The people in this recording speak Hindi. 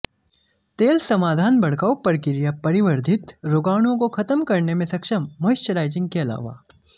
तेल समाधान भड़काऊ प्रक्रिया परिवर्धित रोगाणुओं को खत्म करने में सक्षम मॉइस्चराइजिंग के अलावा